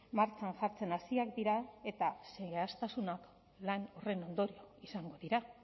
martxan jartzen hasiak dira eta zehaztasuna lan horren ondorio izango dira